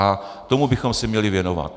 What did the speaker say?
A tomu bychom se měli věnovat.